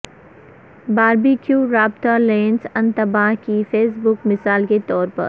barbecue رابطہ lens انتباہ کی فیس بک مثال کے طور پر